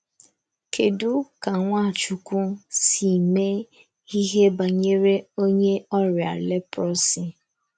Kèdù ka Nwàchùkwù sī mée íhè bànyèrè onye ọ̀rịa lèpròsy?